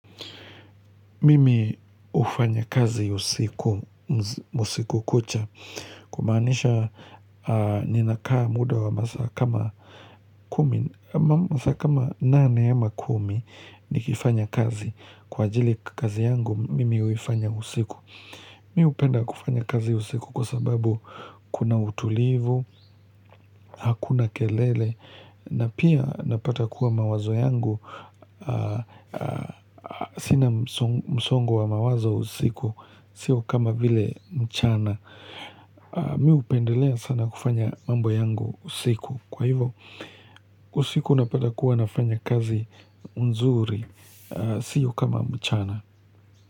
Mimi hufanya kazi usiku kucha, kumaanisha ninakaa muda wa masaa kama kumi masaa kama nane ama kumi nikifanya kazi kwa ajili kazi yangu mimi huifanya usiku. Mimi hupenda kufanya kazi usiku kwa sababu kuna utulivu, hakuna kelele, na pia napata kuwa mawazo yangu sina msongo wa mawazo usiku, sio kama vile mchana Mi upendelea sana kufanya mambo yangu usiku Kwa hivo, usiku napata kuwa nafanya kazi nzuri, sio kama mchana.